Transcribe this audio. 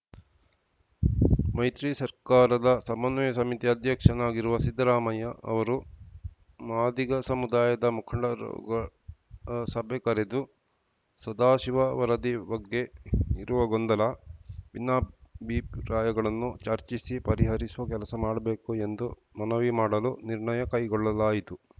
ಮೈತ್ರಿ ಸರ್ಕಾರದ ಸಮನ್ವಯ ಸಮಿತಿ ಅಧ್ಯಕ್ಷನಾಗಿರುವ ಸಿದ್ದರಾಮಯ್ಯ ಅವರು ಮಾದಿಗ ಸಮುದಾಯದ ಮುಖಂಡರ ಸಭೆ ಕರೆದು ಸದಾಶಿವ ವರದಿ ಬಗ್ಗೆ ಇರುವ ಗೊಂದಲ ಭಿನ್ನಾಭಿಪ್ರಾಯಗಳನ್ನು ಚರ್ಚಿಸಿ ಪರಿಹರಿಸುವ ಕೆಲಸ ಮಾಡಬೇಕು ಎಂದು ಮನವಿ ಮಾಡಲು ನಿರ್ಣಯ ಕೈಗೊಳ್ಳಲಾಯಿತು